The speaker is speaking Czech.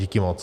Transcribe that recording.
Díky moc.